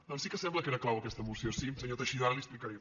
doncs sí que sembla que era clau aquesta moció sí senyor teixidó ara li ho explicaré